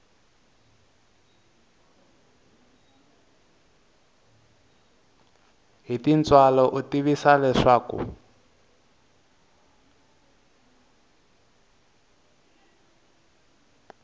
hi tintswalo u tivisiwa leswaku